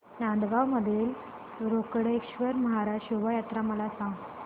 नांदगाव मधील रोकडेश्वर महाराज शोभा यात्रा मला सांग